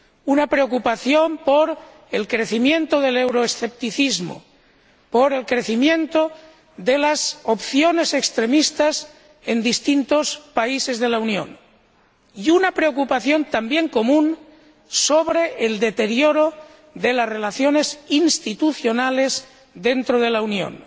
una preocupación por el crecimiento del euroescepticismo, por el crecimiento de las opciones extremistas en distintos países de la Unión, y una preocupación también común sobre el deterioro de las relaciones institucionales dentro de la Unión.